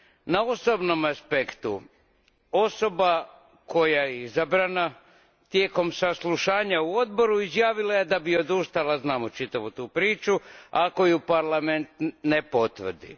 Na osobnom aspektu osoba koja je izabrana tijekom saslušanja u Odboru izjavila je da bi odustala, znamo čitavu tu priču, ako je Parlament ne potvrdi.